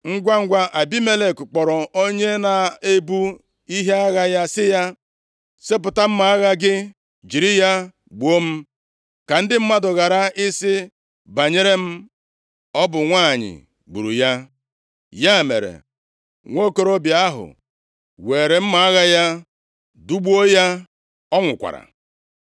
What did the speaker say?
Ngwangwa, Abimelek kpọrọ onye na-ebu ihe agha ya sị ya, “Sepụta mma agha gị jiri ya gbuo m, ka ndị mmadụ ghara ị sị banyere m, ‘Ọ bụ nwanyị gburu ya.’ ” Ya mere nwokorobịa ahụ were mma agha ya dụgbuo ya, ọ nwụkwara.